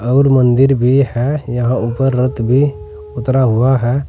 और मंदिर भी है यहां ऊपर रथ भी उतरा हुआ है।